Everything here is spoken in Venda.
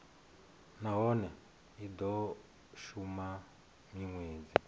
nahone i do shuma minwedzi